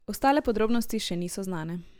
Ostale podrobnosti še niso znane.